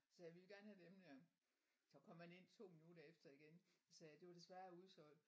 Så sagde vi vil gerne have dem der. Så kom han ind to minutter efter igen sagde det var desværre udsolgt